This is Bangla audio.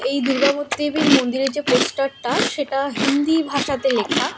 এই দুর্গা মূর্তি দেবীর মন্দিরের যে পোস্টার -টা সেটা হিন্দি ভাষাতে লেখা।